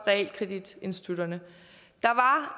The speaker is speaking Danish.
realkreditinstitutterne